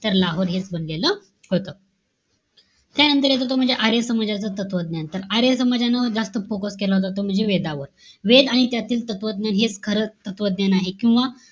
तर लाहोर हेच बनलेलं होतं. त्यांनतर येतो तो म्हणजे, आर्य समाजाचा तत्वज्ञान. तर, आर्य समाजांवर जास्त focus केला जातो. म्हणजे वेदांवर. वेद आणि त्यातील तत्वज्ञान हेच खरं तत्वज्ञान आहे. किंवा,